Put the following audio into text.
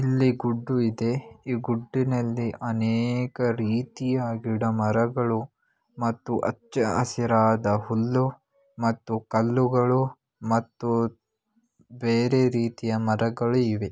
ಇಲ್ಲಿ ಗುಡ್ಡು ಇದೆ. ಈ ಗುಡ್ಡಿನಲ್ಲಿ ಅನೇಕ ರೀತಿಯ ಗಿಡಮರಗಳು ಮತ್ತು ಅಚ್ಚ ಹಸಿರಾದ ಹುಲ್ಲು ಮತ್ತು ಕಲ್ಲುಗಳು ಮತ್ತು ಬೇರೆ ರೀತಿಯ ಮರಗಳು ಇವೆ.